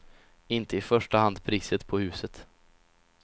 Inte i första hand priset på huset.